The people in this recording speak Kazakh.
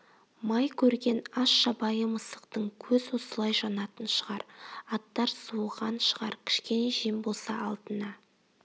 май көрген аш жабайы мысықтың көз осылай жанатын шығар аттар суыған шығар кішкене жем болса алдына